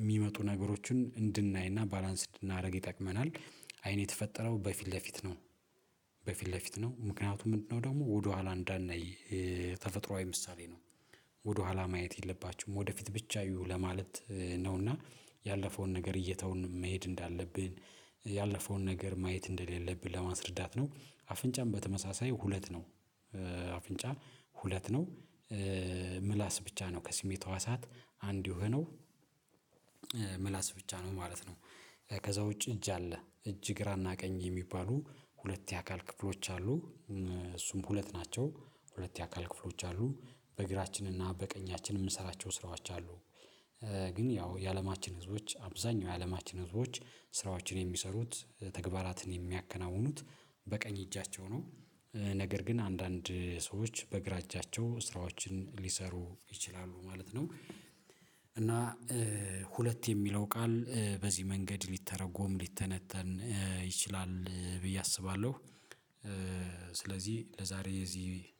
የሚመጡ ነገሮችን እንድናይና ባላንስ እንድናደርግ ይጠቅመናል አይን የተፈጠረው በፊት ለፊት ነው። በፊት ለፊት ነው ምክንያቱም ምንድነው ደግሞ ወደኋላ እንዳናይ ተፈጥሮአዊ ምሳሌ ነው። ወደኋላ ማየት የለባችሁም ወደፊት ብቻ ዕዩ ለማለት ነውና ያለፈውን ነገር እየተውን መሄድ እንዳለብን ያለፈውን ነገር ማየት እንደሌለብን ለማስረዳት ነው። አፍንጫም በተመሳሳይ ሁለት ነው አፍንጫ ሁለት ነው ምላስ ብቻ ነው ከስሜት ህዋሳት አንድ የሆነው ምላስ ብቻ ነው ማለት ነው። ከዛ ውጪ እጅ አለ እጅ ግራና ቀኝ የሚባሉ ሁለት የአካል ክፍሎች አሉ እሱም ሁለት ናቸው ሁለት የአካል ክፍሎች አሉ በእግራችንና በቀኛችን የምንሰራቸው ስራዎች አሉ። ግን ያው የአለማችን ህዝቦች አብዛኛው የአለማችን ህዝቦች ስራዎችን የሚሰሩት ተግባራትን የሚያከናውኑት በቀኝ እጃቸው ነው ነገር ግን አንዳንድ ሰዎች በግራ እጃቸው ስራዎችን ሊሰሩ ይችላሉ ማለት ነው። እና ሁለት የሚለው ቃል በዚህ መንገድ ሊተረጎም ሊተነተን ይችላል ብዬ አስባለሁ። ስለዚህ ለዛሬ እዚህ